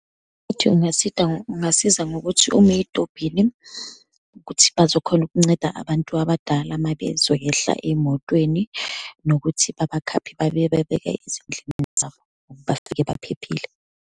Ukuthi ungasida, ungasiza ngokuthi ume ey'tobhini ukuthi bazokhona ukunceda abantu abadala uma bezoyehla ey'motweni, nokuthi babakhaphe, bayobabeka ezindlini zabo, bafike baphephile.